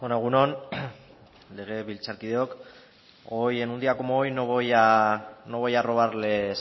egun on legebiltzarkideok hoy en un día como hoy no voy a robarles